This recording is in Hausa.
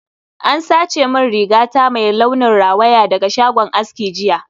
An sace rigata mai launin rawaya daga shagon aski jiya